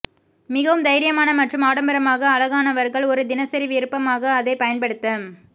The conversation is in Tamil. மிகவும் தைரியமான மற்றும் ஆடம்பரமாக அழகானவர்கள் ஒரு தினசரி விருப்பமாக அதை பயன்படுத்த